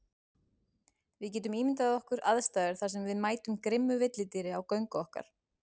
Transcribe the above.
Við getum ímyndað okkar aðstæður þar sem við mætum grimmu villidýri á göngu okkar.